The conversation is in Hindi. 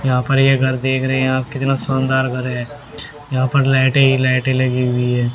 यहां पर ये घर देख रहे हैं आप कितना सुंदर घर है यहां पर लाइटे ही लाइटें लगी हुई है।